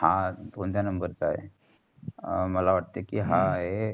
हा कोणता number च आहे. मला वाटतं कि. हा ये